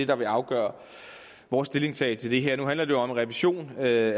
der vil afgøre vores stillingtagen til det her nu handler det jo om en revision af